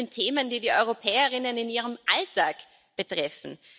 Das alles sind Themen, die die Europäerinnen und Europäer in ihrem Alltag betreffen.